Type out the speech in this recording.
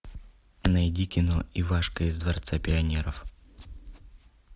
найди кино ивашка из дворца пионеров